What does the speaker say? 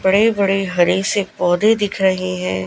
बड़े बड़े हरे से पौधे दिख रहे है।